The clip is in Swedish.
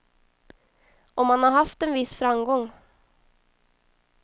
Och man har haft en viss framgång.